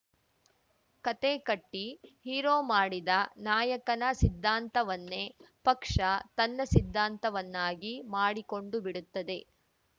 ಕತೆ ಕಟ್ಟಿಹೀರೋ ಮಾಡಿದ ನಾಯಕನ ಸಿದ್ಧಾಂತವನ್ನೇ ಪಕ್ಷ ತನ್ನ ಸಿದ್ಧಾಂತವನ್ನಾಗಿ ಮಾಡಿಕೊಂಡುಬಿಡುತ್ತದೆ